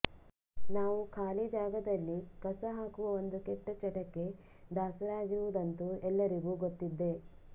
ನಾವು ಖಾಲಿ ಜಾಗದಲ್ಲಿ ಕಸ ಹಾಕುವ ಒಂದು ಕೆಟ್ಟ ಚಟಕ್ಕೆ ದಾಸರಾಗಿರುವುದಂತೂ ಎಲ್ಲರಿಗೂ ಗೊತ್ತಿದ್ದೇ